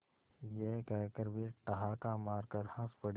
यह कहकर वे ठहाका मारकर हँस पड़े